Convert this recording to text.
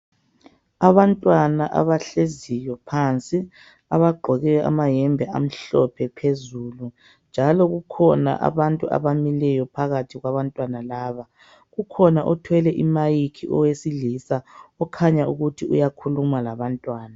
Abantwana abahleziyo phansi. Abagqoke amayembe amhlophe phezulu. Njalo kukhona abantu abamileyo phakathi kwabantwana laba. Kukhona othwele i mic owesilisa okhanya ukuthi uyakhuluma labantwana .